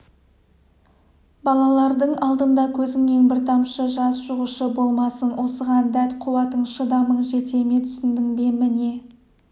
балалардың алдында көзіңнен бір тамшы жас шығушы болмасын осыған дәт-қуатың шыдамың жете ме түсіндің бе міне